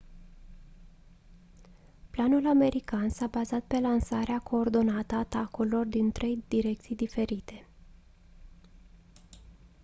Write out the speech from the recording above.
planul american s-a bazat pe lansarea coordonată a atacurilor din trei direcții diferite